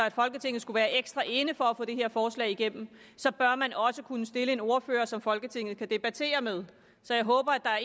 i folketinget skulle være ekstra inde for at få det her forslag igennem så bør man også kunne stille en ordfører som folketinget kan debattere med så jeg håber at der er